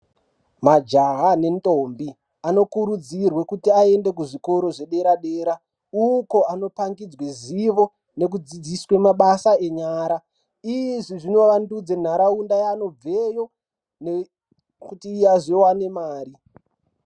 Majaha nendombi anokurudzirwa kuti aende kuzvikora zvedera dera uko anopangidzwa zivo nekudzifzisaa mabasa enyara izvi zvinovandudza nharaunda yaunobva iyo kuti tiwane Mari.